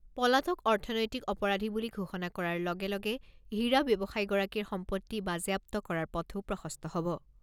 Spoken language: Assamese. পলাতক অৰ্থনৈতিক অপৰাধী বুলি ঘোষণা কৰাৰ লগে লগে হীৰা ব্যৱসায়ীগৰাকীৰ সম্পত্তি বাজেয়াপ্ত কৰাৰ পথো প্ৰশস্ত হ'ব।